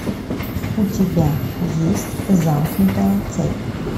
у тебя есть замкнутая цепь